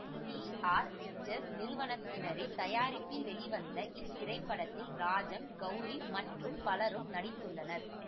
D R pictures நிறுவனத்தினரின் தயாரிப்பில் வெளிவந்த இத்திரைப்படத்தில் ராஜம் கௌரி மற்றும் பலரும் நடித்துள்ளனர்